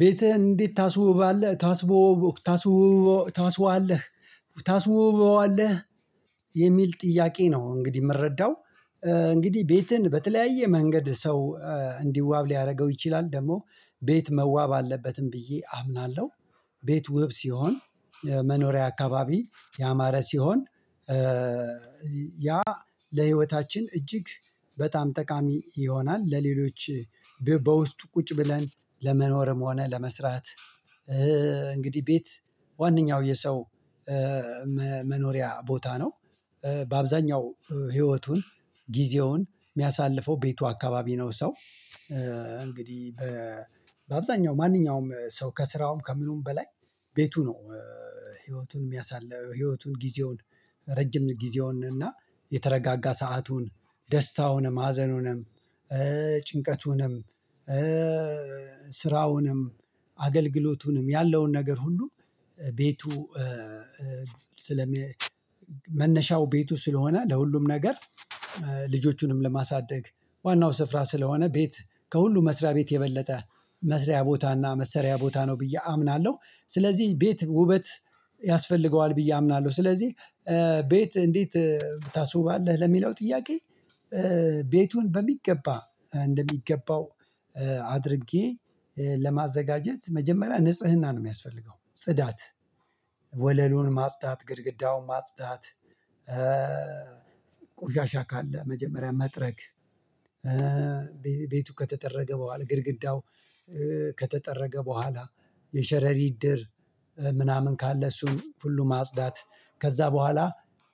ቤትህን እንዴት ታስውባለህ? ታስቦ ታስቦ ታስቦ ታስበሆታለ ታስውባለህ። ጥያቄ ነው እንግዲህ የምረዳው እንግዲህ ቤትን በተለያየ መንገድ ሰው እንዲዋብ ሊያደርገው ይችላል ደግሞ ቤት መዋብ አለበትም ብዬ አምናለሁ። ቤት ውብ ሲሆን መኖሪያ አካባቢ ያማረ ሲሆን ያ ለህይወታችን እጅግ በጣም ጠቃሚ ይሆናል። ለሌሎች በውስጡ ቁጭ ብለን ለመኖርም ሆነ ለመስራት። እንግዲህ ቤት ዋነኛው የሰው መኖሪያ ቦታ ነው። በአብዛኛው ህይወቱን ጊዜውን የሚያሳልፈው ቤቱ አካባቢ ነው። ሰው እንግዲህ በአብዛኛው ማንኛውም ሰው ከስራውም ከምኑም በላይ ቤቱ ነው። ህይወቱን የሚያሳልፍ ህይወቱን ጊዜውን ረጅም ጊዜውን እና የተረጋጋ ሰአቱን ደስታ ደስታውንም ሀዘኑንም ጭንቀቱንም ስራውንም አገልግሎቱንም ያለውን ነገር ሁሉ ቤቱ ስለ መነሻው ቤቱ ስለሆነ ለሁሉም ነገር። ልጆቹንም ለማሳደግ ዋናው ስፍራ ስለሆነ ቤት ከሁሉም መስሪያ ቤት የበለጠ መስሪያ ቦታና መሰሪያ ቦታ ነው ብዬ አምናለሁ። ስለዚህ ቤት ውበት ያስፈልገዋል ብዬ አምናለሁ። ስለዚህ ቤት እንዴት ታስውባለህ ለሚለው ጥያቄ? ቤቱን በሚገባ እንደሚገባው አድርጌ ለማዘጋጀት መጀመሪያ ንጽህና ነው የሚያስፈልገው ጽዳት ወለሉን ማጽዳት ግድግዳውን ማጽዳት። ቆሻሻ ካለ መጀመሪያ መጥረግ። ቤቱ ከተጠረገ በኋላ ግድግዳው ከተጠረገ በኋላ የሸረሪት ድር ምናምን ካለ እሱን ሁሉ ማጽዳት። ከዛ በኋላ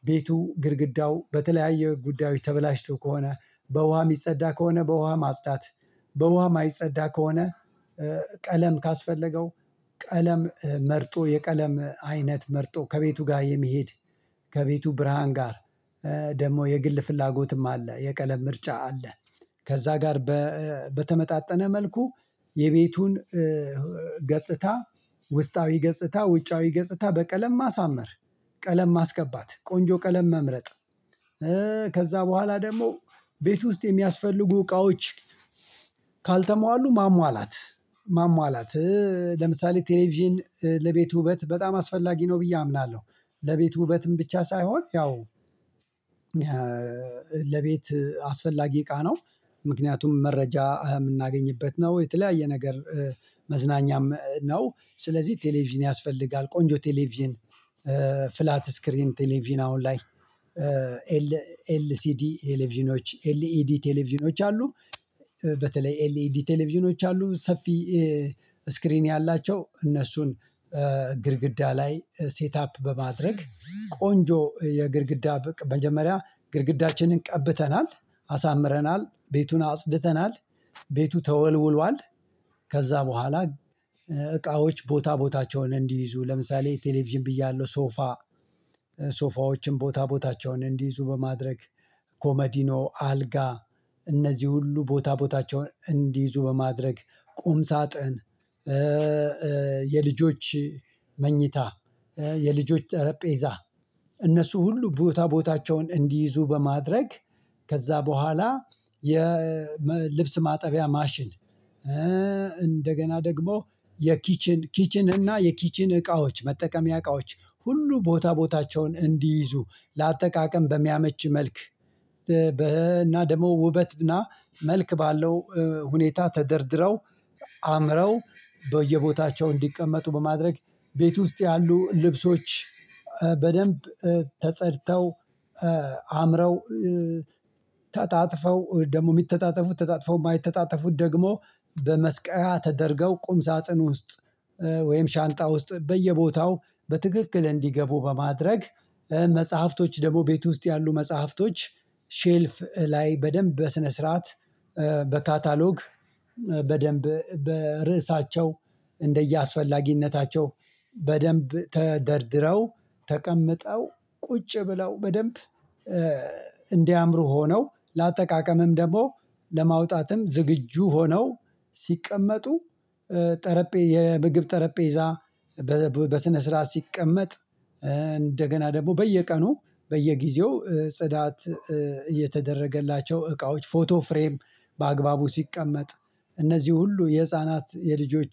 ቤቱ ግድግዳው በተለያየ ጉዳዮች ተበላሽቶ ከሆነ በውሃ የሚጸዳ ከሆነ በውሃ ማጽዳት። በውሃ የማይጸዳ ከሆነ ቀለም ካስፈለገው ቀለም መርጦ የቀለም አይነት መርጦ ከቤቱ ጋር የሚሄድ ከቤቱ ብርሃን ጋር ደግሞ የግል ፍላጎትም አለ የቀለም ምርጫ አለ። ከዛ ጋር በተመጣጠነ መልኩ የቤቱን ገጽታ ውስጣዊ ገጽታ ውጫዊ ገጽታ በቀለም ማሳመር ቀለም ማስቀባት ቆንጆ ቀለም መምረጥ። ከዛ በኋላ ደግሞ ቤት ውስጥ የሚያስፈልጉ እቃዎች ካልተሟሉ ማሟላት። ማሟላት ለምሳሌ ቴሌቪዥን ለቤቱ ውበት በጣም አስፈላጊ ነው ብዬ አምናለሁ። ለቤቱ ውበትም ብቻ ሳይሆን ያው ለቤት አስፈላጊ እቃ ነው። ምክንያቱም መረጃ የምናገኝበት ነው የተለያየ ነገር መዝናኛም ነው ስለዚህ ቴሌቪዥን ያስፈልጋል። ቆንጆ ቴሌቪዥን ፍላት ስክሪን ቴሌቪዥን አሁን ላይ ኤል ኤል ሲ ዲ ቴሌቪዥኖች ኤል ኤልኢዲ ቴሌቪዥኖች አሉ። በተለይ ኤልኢዲ ቴሌቪዥኖች አሉ ሰፊ ስክሪን ያላቸው እነሱን ግድግዳ ላይ ሴት አፕ በማድረግ ቆንጆ የግድግዳ በቅ መጀመሪያ ግድግዳችንን ቀብተናል አሳምረናል ቤቱን አጽድተናል ቤቱ ተወልውሏል። ከዛ በኋላ እቃዎች ቦታ ቦታቸውን እንዲይዙ ለምሳሌ ቴሌቪዥን ብያለሁ ሶፋ ሶፋዎችን ቦታ ቦታቸውን እንዲይዙ በማድረግ ኮመዲኖ አልጋ እነዚህ ሁሉ ቦታ ቦታቸውን እንዲይዙ በማድረግ ቁም ሳጥን። የልጆች መኝታ የልጆች ጠረጴዛ እነሱ ሁሉ ቦታ ቦታቸውን እንዲይዙ በማድረግ ከዛ በኋላ የልብስ ማጠቢያ ማሽን እንደገና ደግሞ የኪችን ኪችን እና የኪችን እቃዎች መጠቀሚያ እቃዎች ሁሉ ቦታ ቦታቸውን እንዲይዙ ለአጠቃቀም በሚያመች መልክ። በ እና ደግሞ ውበት እና መልክ ባለው ሁኔታ ተደርድረው አምረው በየቦታቸው እንዲቀመጡ በማድረግ ቤት ውስጥ ያሉ ልብሶች በደንብ ተጸድተው አምረው ተጣጥፈው ደግሞ የሚተጣጠፉት ተጣጥፈው የማይተጣጠፉት ደግሞ በመስቀያ ተደርገው ቁም ሳጥን ውስጥ ወይም ሻንጣ ውስጥ በየቦታው በትክክል እንዲገቡ በማድረግ። መጽሐፍቶች ደግሞ ቤት ውስጥ ያሉ መጽሐፍቶች ሼልፍ ላይ በደንብ በስነ ስርዓት በካታሎግ በደንብ በርእሳቸው እንደየአስፈላጊነታቸው በደንብ ተደርድረው ተቀምጠው ቁጭ ብለው በደንብ እንዲያምሩ ሆነው ለአጠቃቀምም ደግሞ ለማውጣትም ዝግጁ ሆነው ሲቀመጡ ጠረጴ የምግብ ጠረጴዛ። በስነ ስርዓት ሲቀመጥ እንደገና ደግሞ በየቀኑ በየጊዜው ጽዳት እየተደረገላቸው እቃዎች ፎቶ ፍሬም በአግባቡ ሲቀመጥ። እነዚህ ሁሉ የህፃናት የልጆች